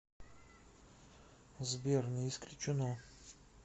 сбер не исключено